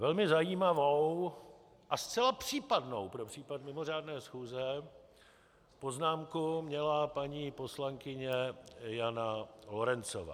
Velmi zajímavou a zcela případnou pro případ mimořádné schůze poznámku měla paní poslankyně Jana Lorencová.